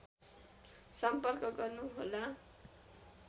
सम्पर्क गर्नु होला